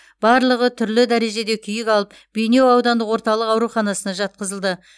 барлығы түрлі дәрежеде күйік алып бейнеу аудандық орталық ауруханасына жатқызылды